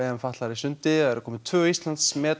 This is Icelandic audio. fatlaðra í sundi tvö Íslandsmet